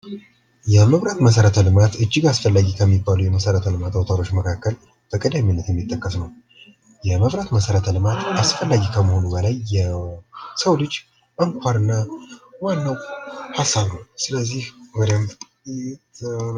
የመብራት መሠረቶች ልማት እጅግ አስፈላጊ ከሚባሉት አውታሮች መካከል በቀደምነት የሚጠቀስ ነው የመብራት መሰረተ ልማት አስፈላጊ ከመሆኑ በላይ የሰው ልጅ አንኳርና ዋናው ሃሳብ ነው ስለዚህ በደንብ መሰራት ይገባል።